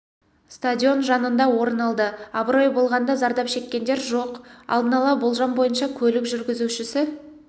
стадион жанында орын алды абырой болғанда зардап шеккендер жоқ алдын ала болжам бойынша көлік жүргізушісі